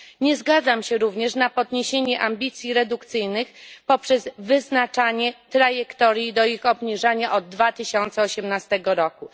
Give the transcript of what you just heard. Nie zgadzam się również na podniesienie ambicji redukcyjnych poprzez wyznaczanie trajektorii do ich obniżania od 2018 roku.